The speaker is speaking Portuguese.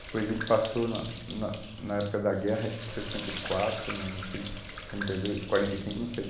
Depois ele passou, na na na época da guerra, acho que em sessenta e quatro, não sei, trinta e dois, quarenta e cinco, não sei.